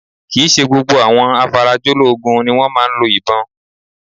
Kì í ṣe gbogbo àwọn afarajológun ni wọ́n máa ń lo ìbọn